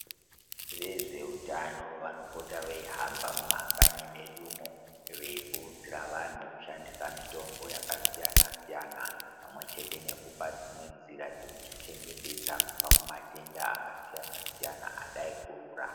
Vezveutano vanopota veihamba mumakanyi medumo veikurudzira antu kushandisa mitombo yakasiyana siyana pamwechete nekupa dzimwe nzira dzekuzvichengetedza kubva kumatenda akasiyana siyana adai kurura.